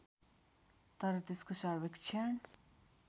तर त्यसको सर्वेक्षण